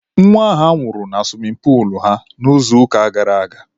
Nwa ha nwụrụ na suwimin puulu ha n'izuụka gara aga.